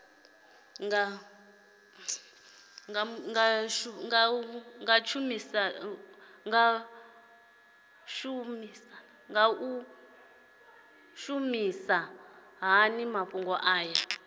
nga shumisa hani mafhumgo aya